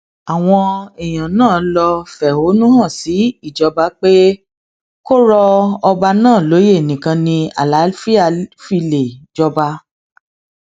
àwọn èèyàn náà lọọ fẹhónú hàn sí ìjọba pé kó rọ ọba náà lóyè nìkan ni àlàáfíà fi lè jọba